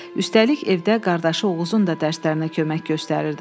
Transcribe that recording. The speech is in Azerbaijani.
Üstəlik, evdə qardaşı Oğuzun da dərslərinə kömək göstərirdi.